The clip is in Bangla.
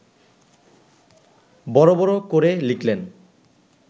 বড় বড় করে লিখলেন